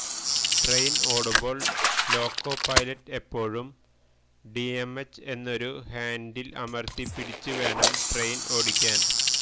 train ഓടുമ്പോള് loco pilot എപ്പോഴും DMH എന്നൊരു ഹാന്ഡില് അമര്ത്തി പിടിച്ച് വേണം ട്രെയിന് ഓടിക്കാന്്